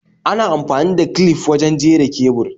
Ana amfani da clif wurin jera kebur